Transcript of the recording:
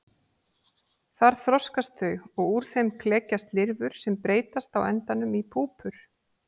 Þar þroskast þau og úr þeim klekjast lirfur sem breytast á endanum í púpur.